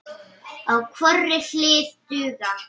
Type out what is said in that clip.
á hvorri hlið duga.